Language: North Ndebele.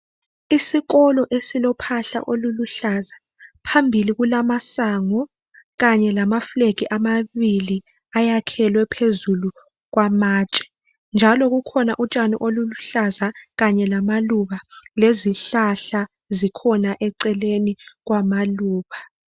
Isikolo esilophahla eluhlaza phambili kulamasango kanye lamafilegi amabili ayakhelwe phezulu kwamatshe. Njalo kukhona utshani obuluhlaza Kanye lamaluba, lezihlahla eceleni kwamaluba.